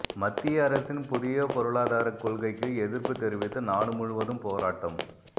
மத்திய அரசின் புதிய பொருளாதார கொள்கைக்கு எதிர்ப்பு தெரிவித்து நாடு முழுவதும் போராட்டம்